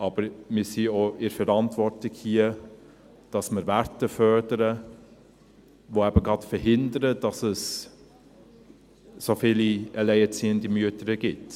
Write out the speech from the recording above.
Aber wir sind hier auch in der Verantwortung, dass wir Werte fördern, die eben gerade verhindern, dass es so viele alleinerziehende Mütter gibt.